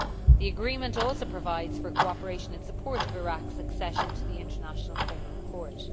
The agreement also provides for cooperation in support of Iraq's accession to the International Criminal Court.